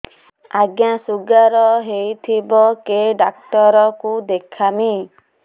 ଆଜ୍ଞା ଶୁଗାର ହେଇଥିବ କେ ଡାକ୍ତର କୁ ଦେଖାମି